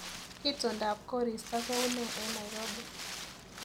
Itondap koristo koune eng Nairobi